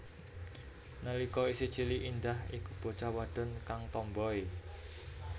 Nalika isih cilik Indah iku bocah wadon kang tomboi